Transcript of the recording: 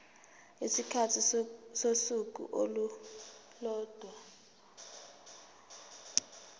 isikhathi sosuku olulodwa